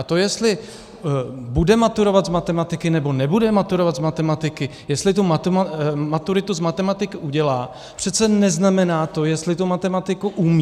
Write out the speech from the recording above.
A to, jestli bude maturovat z matematiky, nebo nebude maturovat z matematiky, jestli tu maturitu z matematiky udělá, přece neznamená to, jestli tu matematiku umí.